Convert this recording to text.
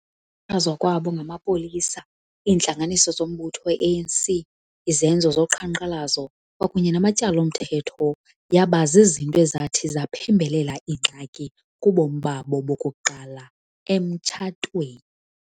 Xhatshazwa kwabo ngamapolisa, iintlanganiso zombutho we ANC, izenzo zoqhankqalazo kwakunye namatyala omthetho yaba zizinto ezathi zaphembelela iingxaki kubomi babo bokuqala emtshatweni.